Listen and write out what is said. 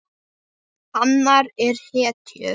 Hanar eru hetjur.